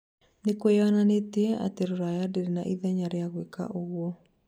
Nĩ kwiyonanĩtie atĩ rũraya ndĩrĩ na ithenya rĩa gwĩka ũgũo